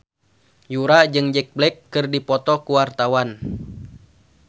Yura jeung Jack Black keur dipoto ku wartawan